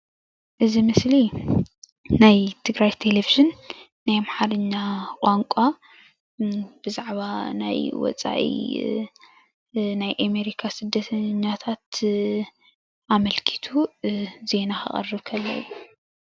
እዚ ምስሊ ናይ ትግራይ ቴሌቭዥን ናይ ኣምሓርኛ ቋንቋ ብዛዕባ ናይ ወፃኢ ናይ ኣሜሪካ ስደተኛታት ኣምልኪቱ ዜና ከቕርብ ከሎ እዩ፡፡